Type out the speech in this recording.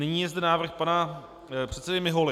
Nyní je zde návrh pana předsedy Mihuly.